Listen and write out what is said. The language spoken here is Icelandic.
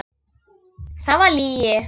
Það var lygi.